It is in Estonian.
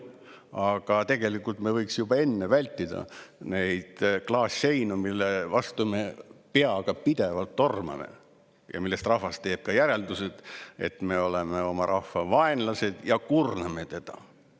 Aga tegelikult me võiksime juba enne vältida neid klaasseinu, mille vastu me peaga pidevalt tormame ja millest rahvas teeb järeldused, et me oleme oma rahva vaenlased ja kurname teda.